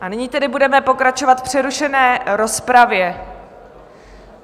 A nyní tedy budeme pokračovat v přerušené rozpravě.